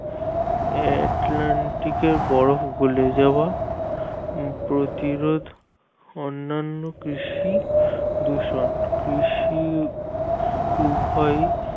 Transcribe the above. Atlantic এর বরফ গলে যাওয়া প্রতিরোধ অন্যান্য কৃষি দূষণ কৃষি উভয়ই